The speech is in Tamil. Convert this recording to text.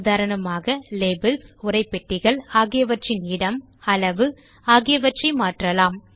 உதாரணமாக லேபல்ஸ் உரைப்பெட்டிகள் ஆகியவற்றின் இடம் அளவு ஆகியவற்றை மாற்றலாம்